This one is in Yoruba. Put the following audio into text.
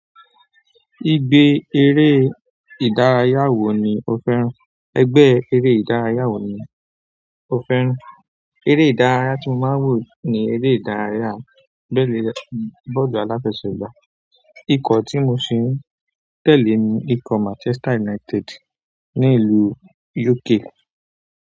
Ìgbẹ́ eré ìdárayá wo ni o fẹ́ràn? Egbẹ́ eré ìdárayá wo ni o fẹ́ràn? Eré ìdárayá tí mo máa ń wò ni eré ìdárayá bọ́ọ̀lù aláfẹsẹ̀gbá. Ikọ̀ tí mo sì ń tẹ̀lé ni ikọ̀ Manchester United ní ìlú UK.